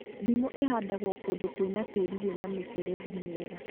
Ndimũ ĩhandagwo kũndũ kwĩna tĩĩri wĩna mĩberethi mĩega